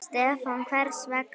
Stefán: Hvers vegna?